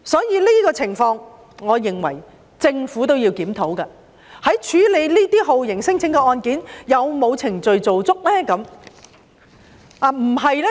因此，在這種情況下，我認為政府也必須檢討，究竟在處理酷刑聲請案件時有否做足所有程序？